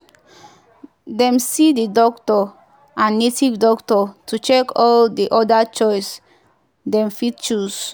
dem see the doctor and native doctor to check all di other choice dem fit choose